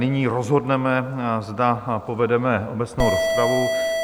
Nyní rozhodneme, zda povedeme obecnou rozpravu.